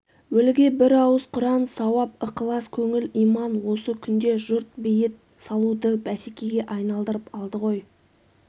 өліге бір ауыз құран сауап ықылас-көңіл иман осы күнде жұрт бейіт салуды бәсекеге айналдырып алды ғой